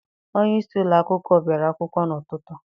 Onyeisi ụlọakwụkwọ bịara akwụkwọ n'ụtụtụ.